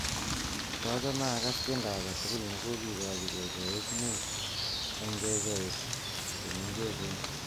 kotochome agas tiendo agetugul negogegoji kecheik muut en kecheich chemeng'echen